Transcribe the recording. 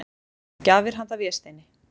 Gjafir handa Vésteini.